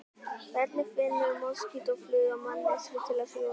Hvernig finnur moskítófluga manneskju til að sjúga blóð?